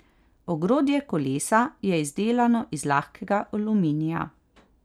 Ogrodje kolesa je izdelano iz lahkega aluminija.